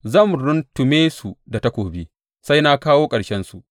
Zan runtume su da takobi sai na kawo ƙarshensu.